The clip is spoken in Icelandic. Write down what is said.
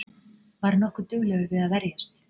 Var nokkuð duglegur við að verjast